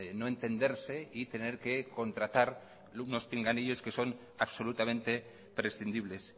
no entenderse y tener que contratar unos pinganillos que son absolutamente prescindibles